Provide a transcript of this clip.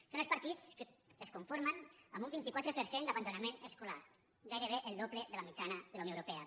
són els partits que es conformen amb un vint quatre per cent d’abandonament escolar gairebé el doble de la mitjana de la unió europea